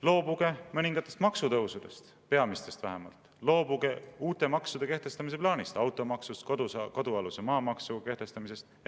Loobuge mõningatest maksutõusudest, peamistest vähemalt, loobuge uute maksude kehtestamise plaanist: automaksust, kodualuse maa maksu kehtestamisest.